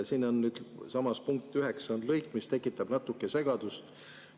Siinsamas punktis 9 on lõik, mis tekitab natuke segadust.